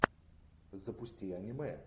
запусти аниме